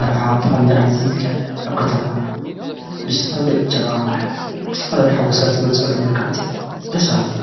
መርዓ ብከመዚ ዓይነት እዩ ዝካየድ ኣብ ከተማ ምስቲ ፓርቲ ዕጀባ ዝተፋላለዩ ሓጎስካ ትገልፀሉ መልከዓት እዩ ደስ በሃለቲ፡፡